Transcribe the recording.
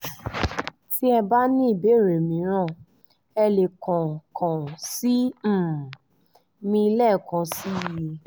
tí ẹ bá ní ìbéèrè mìíràn ẹ lè kàn kàn sí um mi lẹ́ẹ̀kan sí i